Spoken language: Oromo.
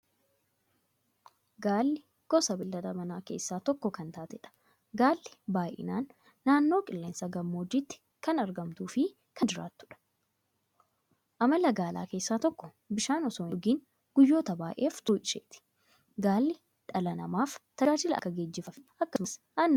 Gaalli gosa beeylada Manaa keessaa tokko kan taateedha. Gaalli baay'inaan naannoo qilleensa gammoojjiitti kan argamtuufi kan jiraatudha. Amala Gaalaa keessaa tokko bishaan osoo hindhugin guyyoota baay'ef turuu isheeti. Gaalli dhala namaaf tajaajila akka geejjibaafi akkasumas Aannan irraa argachuuf oola.